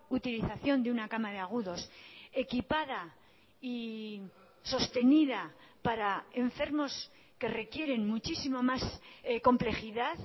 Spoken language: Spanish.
utilización de una cama de agudos equipada y sostenida para enfermos que requieren muchísimo más complejidad